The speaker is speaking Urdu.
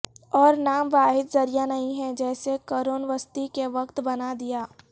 اور نام واحد ذریعہ نہیں ہے جسے قرون وسطی کے وقت بنا دیا